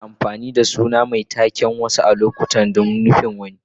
Ana amfani da suna mai taken a wasu lokuta don nufin wani.